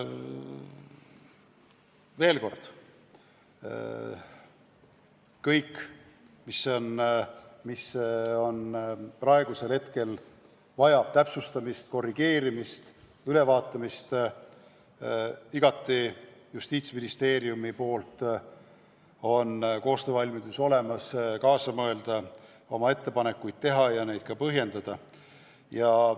Veel kord: kõik, mis praegusel hetkel vajab täpsustamist, korrigeerimist, ülevaatamist – Justiitsministeeriumi poolt on koostöövalmidus olemas, me oleme valmis kaasa mõtlema, oma ettepanekuid tegema ja neid ka põhjendama.